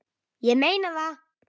Ég meina það!